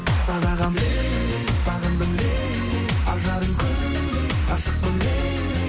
сағындым лейли ажарым күндей ғашықпын лейли